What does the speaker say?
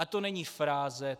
A to není fráze.